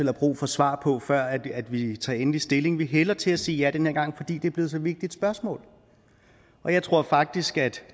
har brug for svaret på før vi tager endelig stilling vi hælder til at sige ja den her gang fordi det er blevet et så vigtigt spørgsmål og jeg tror faktisk at